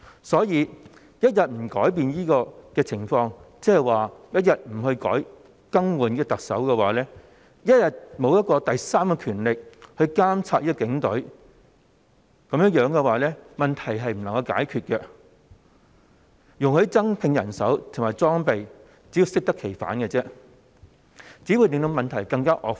所以，若不改變這情況，一天不更換特首、沒有第三權力監察警隊，問題便不會獲得解決，如果容許警隊增聘人手及增加裝備，更只會適得其反，令問題更加惡化。